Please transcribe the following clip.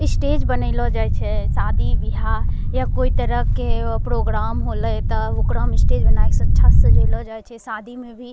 स्टेज बनेलो जाए छै शादी-ब्याह या कोई तरह के प्रोग्राम होले त ओकरा में स्टेज बनाए के अच्छा से सजेलो जाय छै शादी में भी --